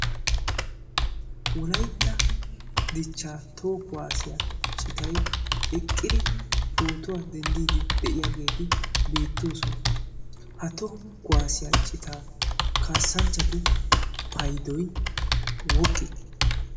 wolaytta dichcha toho kuwaasiyaa citay eqqiri pootuwaa denddiidi de'iyaageeti beettoosona ha toho kwaasiyaa citaa kaassanchchatu paydoy woqqi